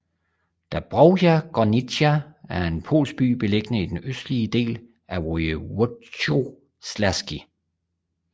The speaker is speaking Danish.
Dąbrowa Górnicza er en polsk by beliggende i den østlige del af Województwo śląskie